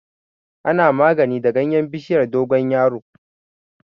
Ana yin magani da ganyen bishiyar dogon yaro.